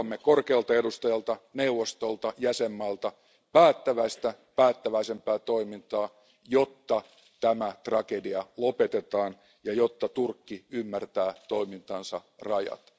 Odotamme korkealta edustajalta, neuvostolta ja jäsenmailta päättäväistä päättäväisempää toimintaa, jotta tämä tragedia lopetetaan ja jotta Turkki ymmärtää toimintansa rajat.